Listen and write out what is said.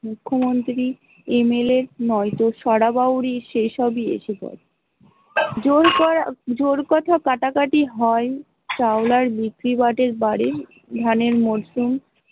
মুখ্য মন্ত্রী, MLA, নইত ছড়াবাউরি সেই সবই এসে জায়, জোর কথা কাটি হয় সাউলার মিত্তি ভাটের বাড়ি ধানের মশগুল।